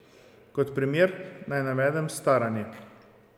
Kot primer naj navedem staranje.